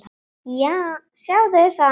Sjáðu, sagði hann.